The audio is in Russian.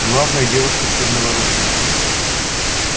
главное девушка с чёрной воронкой